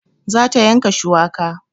Za ta yanka shuwaka